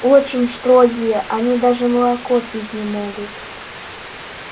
очень строгие они даже молоко пить не могут